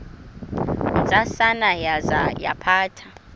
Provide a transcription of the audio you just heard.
ntsasana yaza yaphatha